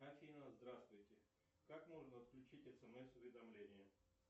афина здравствуйте как можно отключить смс уведомления